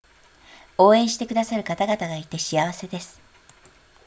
応援してくださる方々がいて幸せです